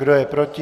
Kdo je proti?